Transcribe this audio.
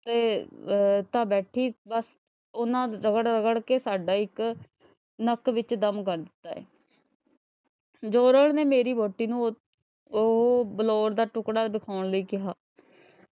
ਉਨ੍ਹਾਂ ਨੇ ਤਾਂ ਰਗ਼ੜ ਰਗ਼ੜ ਕੇ ਸਾਡਾ ਇੱਕ ਨੱਕ ਵਿੱਚ ਦਮ ਕਰ ਦਿੱਤਾ ਏ ਜੋਹਰਨ ਨੇ ਮੇਰੀ ਵਹੁਟੀ ਨੂੰ ਅਹ ਉਹ ਬਲੌਰ ਦਾ ਟੁੱਕੜਾ ਦਿਖਾਉਣ ਲਈ ਕਿਹਾ।